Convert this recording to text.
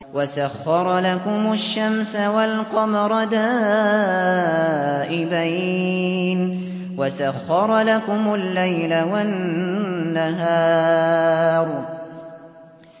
وَسَخَّرَ لَكُمُ الشَّمْسَ وَالْقَمَرَ دَائِبَيْنِ ۖ وَسَخَّرَ لَكُمُ اللَّيْلَ وَالنَّهَارَ